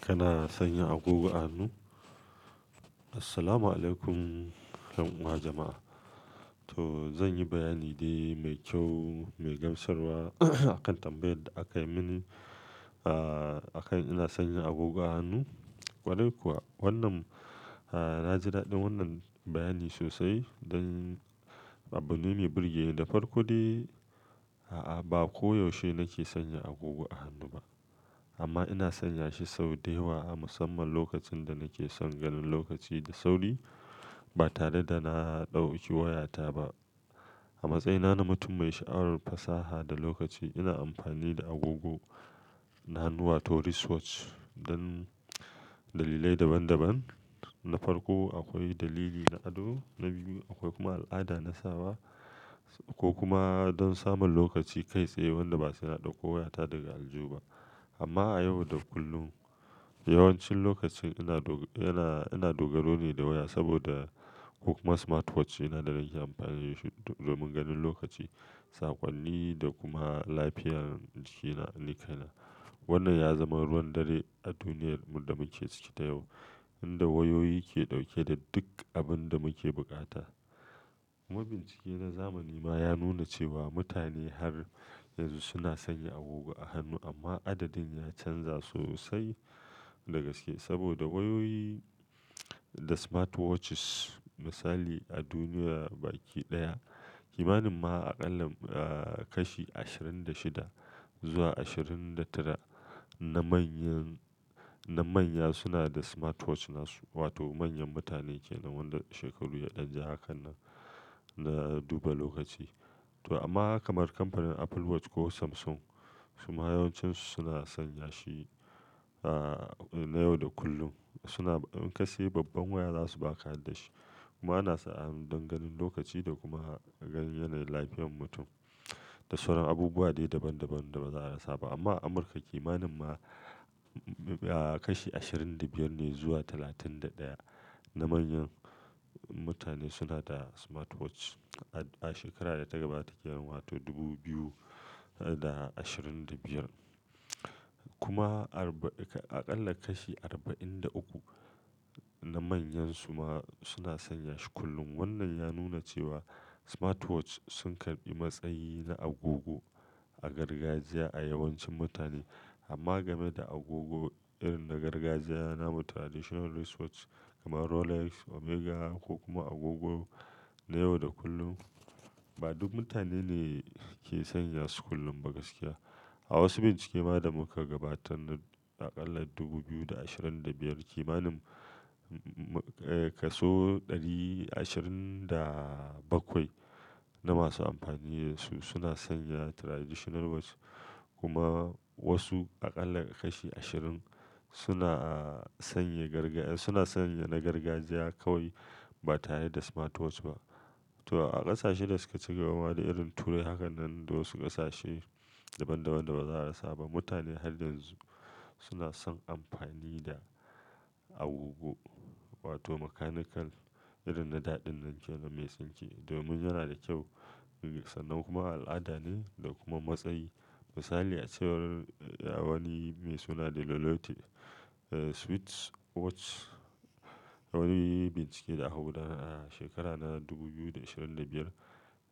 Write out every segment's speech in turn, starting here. Kana sanya agogo a hannu? Assalamualaikum ɗan uwa jama'a. To zan yi bayani dai mai kyau, mai gamsarwa akan tambayar da aka yi mini. Ah, akan ina sanya agogo a hannu. Kwarai kuwa, wannan ah, na ji daɗin wannan bayani sosai don abu ne mai birge ni da farko dai. A'a, ba koyaushe nake sanya agogo a hannu ba amma ina sanya shi sau da yawa a musamman lokacin da nake son ganin lokaci da sauri ba tare da na ɗauki wayata ba. A matsayina na mutum mai sha'awar fasaha da lokaci, ina amfani da agogo na hannuwa wato wristwatch don dalilai daban daban. Na farko akwai dalili na ado, na biyu akwai kuma al'ada na sawa ko kuma don samun lokaci kai tsaye wanda ba suna ɗauko wayata daga aljihu ba. Amma a yau da kullum yawancin lokaci ina do ina, ina dogaro ne da waya saboda ko kuma smartwatch ɗina da nake amfani da shi domin ganin lokaci, saƙonni da kuma lafiyar jikina, nikaina. Wannan ya zama ruwan dare a duniyar mu da muke ciki ta yau inda wayoyi ke ɗauke da duk abin da muke buƙata. Kuma bincike na zamani ma ya nuna cewa mutane har yanzu suna sanya agogo a hannu amma adadin ya canza sosai da gaske saboda wayoyi da smartwatches. Misali a duniya baki ɗaya, kimanin ma a ƙalla eh, kashi ashirin da shida zuwa ashirin da tara na manyan, na manya suna da smartwatch nasu wato manyan mutane ke nan wanda shekaru ya ɗan ja haka nan na duba lokaci. To amma kamar kamfanin Apple Watch ko Samsung su ma yawancinsu suna sanya shi ah, na yau da kullum. Suna in kasai babban waya za su baka harda da shi kuma ana sa hannu don ganin lokaci da kuma ganin yanayin lafiyar mutum da sauran abubuwa dai daban daban da baza a rasa ba. Amma a Amurka kimanin ma a kashi ashirin da biyar ne zuwa talatin da ɗaya na manyan mutane suna da smartwatch. A shekara da ta gabata ke nan wato dubu biyu da ashirin da biyar kuma arba-- a ƙalla kashi arba'in da uku na manyan su ma suna sanya shi kullum. Wannan ya nuna cewa smartwatch sun karɓi matsayi na agogo a gargajiya a yawancin mutane. Amma game da agogo irin na gargajiya na mu traditional wristwatch kamar Rolex, Omega ko kuma agogo na yau da kullum, ba duk mutane ne ke sanya su kullum ba gaskiya. A wasu bincike ma da muka gabatar na aƙalla dubu biyu da ashirin da biyar kimanin ka so ashirin da bakwai na masu amfani da su suna sanya traditional watch kuma wasu a ƙalla kashi ashirin suna a sanye gargajiya, suna sanya na gargajiya kawai ba tare da smartwatch ba. To a ƙasashe da suka ci gaba ma dai irin turai haka nan da wasu ƙasashe daban daban da ba za a rasa ba, mutane har yanzu suna son amfani da agogo wato mechanical irin na da ɗinnan ke nan mai tsinke domin yana da kyau, sannan kuma al'ada ne da kuma matsayi. Misali a cewar wani mai suna De Lolotte, Swiss watch wani bincike da aka gudanan a shekara na dubu biyu da ashirin da biyar,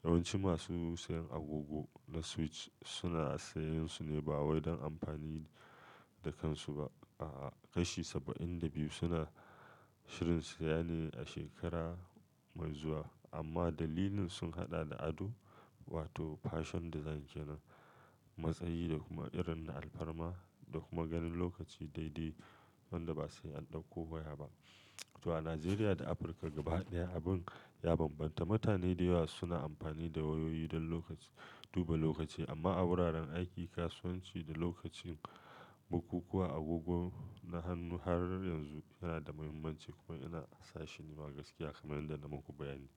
yawanci masu sayan agogo na Swiss suna sayan su ne ba wai don amfani da kansu ba. A, kashi saba'in da biyu suna shirin su saya ne a shekara mai zuwa amma dalilin sun haɗa da ado wato fashion design ke nan, matsayi da kuma irin na alfarma da kuma ganin lokaci daidai wanda ba sai an ɗauko waya ba. To a Najeriya da Afirka gaba ɗaya abin ya bambanta. Mutane da yawa suna amfani da wayoyi don lokaci, duba lokaci amma a wuraren aiki, kasuwanci da lokacin bukukuwa agogo na hannu har ran yanzu yana da muhimmanci kuma ina sa shi nima gaskiya kamar yadda na muku bayani.